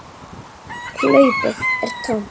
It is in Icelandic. Hlaupið er tómt.